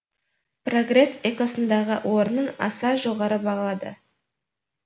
прогресс экосындағы орнын аса жоғары бағалады